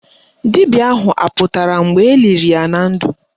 Dibịa ahụ apụtara mgbe eliri ya na ndụ?